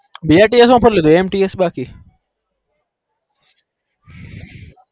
બે ટેસ બાકી